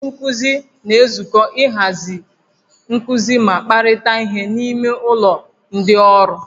Ndị nkuzi na-ezukọ iji hazie nkuzi ma kparịta ihe n'ime ụlọ ndị ọrụ